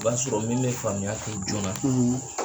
I b'a sɔrɔ min be faamuya kɛ jɔɔna ɔ